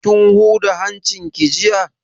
Kin huda hancin ki jiya?